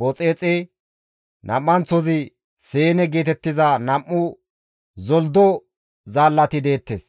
Booxexe, nam7anththozi Seene geetettiza nam7u zolddo zaallati deettes.